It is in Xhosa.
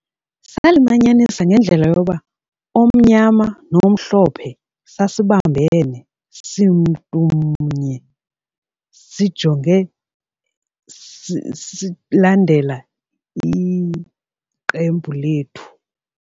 Salimanyisa ngendlela yoba omnyama nomhlophe sasibambene simntumnye sijonge silandela iqembu lethu.